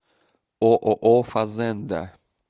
ооо фазенда